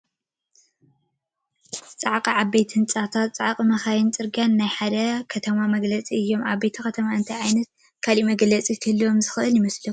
ፃዕቕ ዓበይቲ ህንፃታ፣ ፃዕቒ መኻይንን ዕርጊያታትን ናይ ሓደ ከተማ መግለፅታት እዮም፡፡ ዓብዪ ከተማ እንታይ ዓይነት ካልእ መግለፂ ክህልዎ ዝኽእል ይመስለኩም?